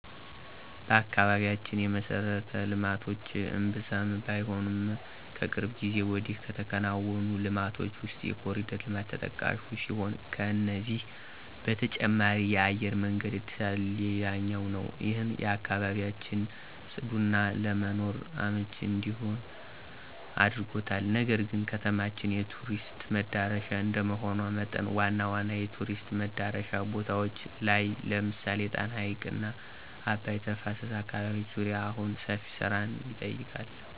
በአካባቢያችን የመሠረተ ልማቶች እምብዛም ባይሆኑም ከቅርብ ጊዜ ወዲህ ከተከናወኑ ልማቶች ውስጥ የኮርዲር ልማት ተጠቃሹ ሲሆን ከዚህ በተጨማሪ የአየር መንገድ እድሳት ሌላኛው ነው። ይህም አካባቢያችን ፅዱና ለመኖር አመቺ እንዲሆን አድርጎታል። ነገር ግን ከተማችን የቱሪስት መዳረሻ እንደመሆኗ መጠን ዋና ዋና የቱሪስት መዳረሻ ቦታዎች ላይ ለምሳሌ የጣና ሀይቅና አባይ ተፋሰስ አካባቢዎች ዙሪያ አሁንም ሰፊ ስራን ይጠይቃል።